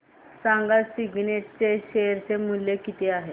सांगा सिग्नेट चे शेअर चे मूल्य किती आहे